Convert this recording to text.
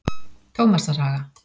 Tómasarhaga